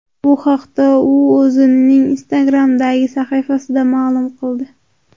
Bu haqda u o‘zining Instagram’dagi sahifasida ma’lum qildi .